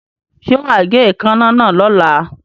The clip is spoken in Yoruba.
Ṣé wà á gé èékánná náà lọ́la.